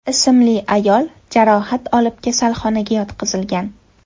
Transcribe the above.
ismli ayol jarohat olib kasalxonaga yotqizilgan.